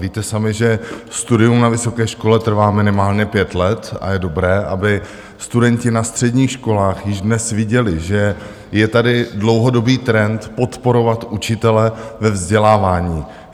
Víte sami, že studium na vysoké škole trvá minimálně pět let, a je dobré, aby studenti na středních školách již dnes viděli, že je tady dlouhodobý trend podporovat učitele ve vzdělávání.